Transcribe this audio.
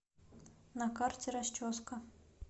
на карте расческа